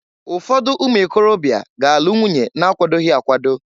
Ụfọdụ ụmụịkorobịa ga-alụ nwunye na akwadoghi akwado.